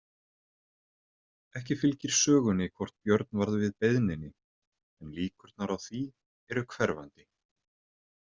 Ekki fylgir sögunni hvort Björn varð við beiðninni en líkurnar á því eru hverfandi.